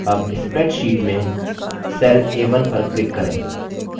a1 spreadsheet में cell a1 पर click करें